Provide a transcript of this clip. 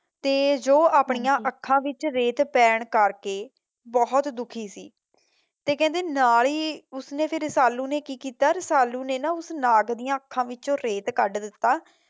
ਤੇ ਜੋ ਆਪਣੀਆਂ ਅੱਖਾਂ ਵਿੱਚ ਰੇਤ ਪੈਣ ਕਰਕੇ ਬਹੋਤ ਦੁਖੀ ਸੀ ਤੇ ਕਹਿੰਦੇ ਨਾਲ਼ੇ ਉਸਨੇ ਫਿਰ ਰਸਾਲੂ ਨੇ ਕੀ ਕੀਤਾ ਰਸਾਲੂ ਨੇ ਨਾ ਓੁਸ ਨਾਗ ਦੀਆਂ ਅੱਖਾਂ ਵਿੱਚ ਰੇਤ ਕਡ ਦਿੱਤਾ